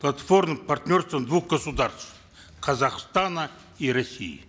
платформой партнерства двух государств казахстана и россии